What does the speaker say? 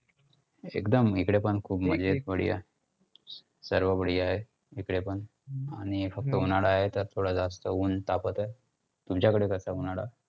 एकदम हिकडे पण खूप मजेत, बढिया. सर्व बढिया हे हिकडेपण. आणि फक्त उन्हाळा आहे तर थोडं जास्त ऊन तापत आहे. तुमच्याकडं कसं आहे उन्हाळा?